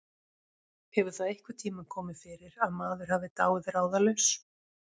Hefur það einhvern tíma komið fyrir að maður hafi dáið ráðalaus?